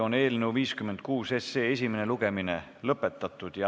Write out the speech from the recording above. Eelnõu 56 esimene lugemine on lõpetatud.